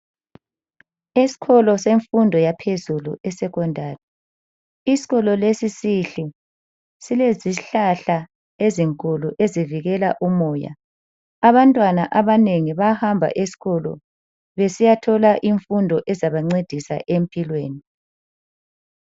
Eskolo semfundo yaphezulu I secondary, iskolo lesi sihle. silezihlahla ezinkulu ezivikela umoya. Abantwana abanengi bayahamba eskolo besiyathola imfundo ezabancedisa empilweni.